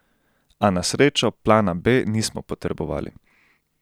A na srečo plana B nismo potrebovali.